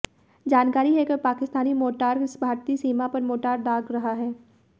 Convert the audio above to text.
जानकारी है कि पाकिस्तान मोर्टार भारतीय सीमा पर मोर्टार दाग रहा है